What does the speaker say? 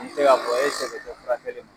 N bi se ka fɔ,e sɛbɛ te fura ko ma.